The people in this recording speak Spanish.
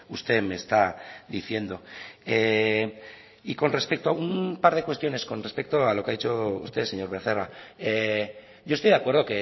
usted me está diciendo y con respecto a un par de cuestiones con respecto a lo que ha dicho usted señor becerra yo estoy de acuerdo